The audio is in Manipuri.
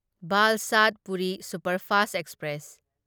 Valsad Puri superfast express